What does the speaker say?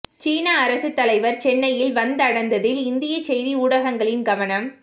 சீன அரசுத் தலைவர் சென்னையில் வந்தடந்ததில் இந்திய செய்தி ஊடகங்களின் கவனம்